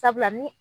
Sabula ni